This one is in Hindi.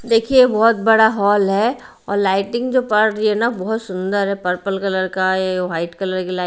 देखिए ये बहुत बड़ा हॉल है और लाइटिंग जो पड़ रही है ना बहुत सुन्दर है पर्पल कलर का है व्हाईट कलर की लाइ--